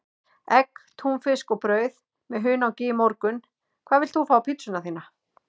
Egg, túnfisk og brauð með hunangi í morgun Hvað vilt þú fá á pizzuna þína?